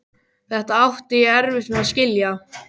Þetta átti ég erfitt með að skilja.